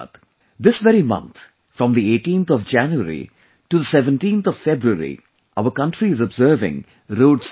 This very month, from the 18th of January to the 17th of February, our country is observing Road Safety month